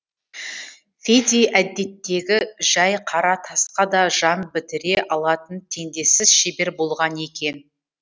фиди әдеттегі жай қара тасқа да жан бітіре алатын теңдессіз шебер болған екен